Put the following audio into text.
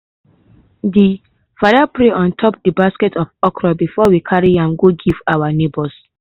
de father pray on top de basket of okra before we carry am go give our neighbors.